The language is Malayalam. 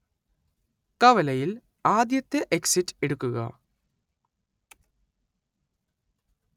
കവലയിൽ ആദ്യത്തെ എക്സിറ്റ് എടുക്കുക